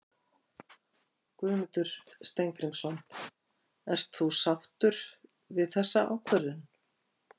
Guðmundur Steingrímsson: Ert þú sáttur við þessa ákvörðun?